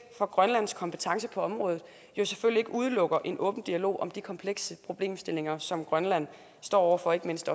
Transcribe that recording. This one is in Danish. for grønlands kompetence på området jo selvfølgelig ikke udelukker en åben dialog om de komplekse problemstillinger som grønland står over for ikke mindst